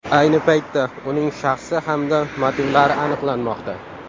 Ayni paytda uning shaxsi hamda motivlari aniqlanmoqda.